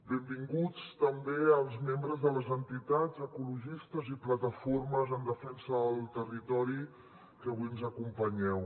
benvinguts també els membres de les entitats ecologistes i plataformes en defensa del territori que avui ens acompanyeu